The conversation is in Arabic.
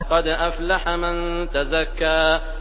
قَدْ أَفْلَحَ مَن تَزَكَّىٰ